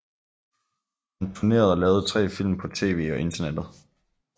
Han turnerede og lavede tre film på tv og internettet